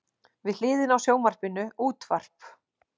Við hliðina á sjónvarpinu útvarp.